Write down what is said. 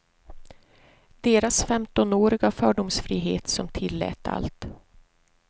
Deras femtonåriga fördomsfrihet som tillät allt.